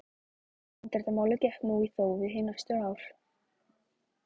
Handritamálið gekk nú í þófi hin næstu ár.